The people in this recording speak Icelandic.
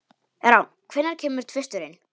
Rán, hvenær kemur tvisturinn?